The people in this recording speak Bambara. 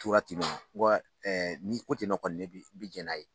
Tora tɛ nɔ, ɛ ni ko ten nɔ kɔni ne bɛ, n b'i jɛn n'a ye.